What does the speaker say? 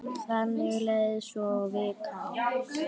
Þannig leið svo vikan.